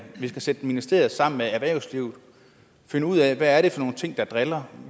vi skal sætte ministeriet sammen med erhvervslivet finde ud af hvad det er for nogle ting der driller